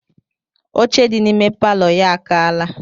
Oche dị n'ime palọ ya akaala.